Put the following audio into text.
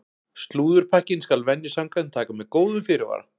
Slúðurpakkann skal venju samkvæmt taka með góðum fyrirvara!